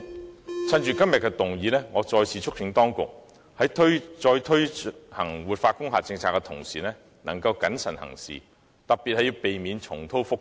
我想藉今天議案辯論的機會，再次促請當局，在再推行活化工廈政策的同時，應該謹慎行事，特別要避免重蹈覆轍。